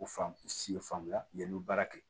O fan si ye fan bila yen n'o baara kɛ